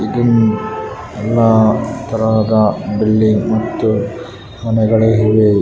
ಇಲ್ಲಿ ಇದು ಎಲ್ಲಾ ತರದ ಬಿಲ್ಡಿಂಗ್‌ ಮತ್ತು ಮನೆಗಳಿವೆ --